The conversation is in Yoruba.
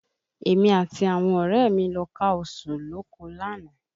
Èmi àti àwọn ọ̀rẹ́ ẹ mi lọ ká ọsàn lóko lánàá